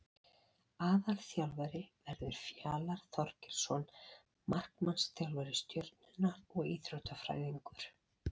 Aðalþjálfari verður Fjalar Þorgeirsson markmannsþjálfari Stjörnunnar og Íþróttafræðingur.